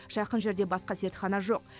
жақын жерде басқа зертхана жоқ